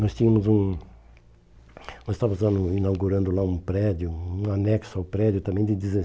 nós tínhamos um Nós estávamos usando um inaugurando lá um prédio, um anexo ao prédio, também de